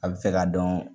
A bɛ fɛ ka dɔn